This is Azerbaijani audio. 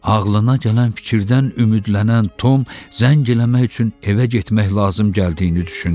Ağlına gələn fikirdən, ümidlənən Tom, zəng eləmək üçün evə getmək lazım gəldiyini düşündü.